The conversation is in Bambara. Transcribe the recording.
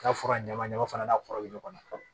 K'a fura ɲama ɲama fana n'a kɔrɔ bɛ ɲɔgɔn na fɔlɔ